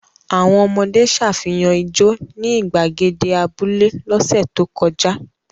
Àwọn ọmọdé ṣàfihàn ijó ní ìgbàgede abúlé lọ́sẹ̀ tó kọjá?